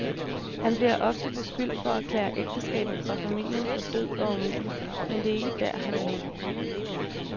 Han bliver ofte beskyldt for at erklære ægteskabet og familien for død og umulig, men det er ikke der, han vil hen.